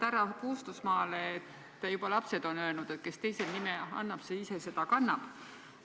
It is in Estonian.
Härra Puustusmaale: juba lapsed on öelnud, et kes teisele nime annab, see ise seda kannab.